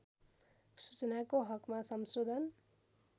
सूचनाको हकमा संशोधन